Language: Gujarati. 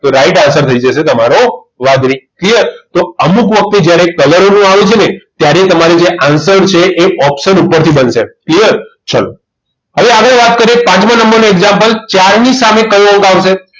તો right answer થઈ જશે તમારો વાદળી clear તો અમુક વખત તો જ્યારે colour નું આવે છે ત્યારે તમારે જે answer છે એ option ઉપરથી બનશે clear ચલો હવે આપણે વાત કરીએ પાંચમા નંબરનું example ચાર ની સામે કયો અંક આવશે